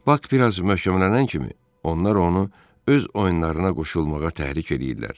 Bak biraz möhkəmlənən kimi onlar onu öz oyunlarına qoşulmağa təhrik eləyirdilər.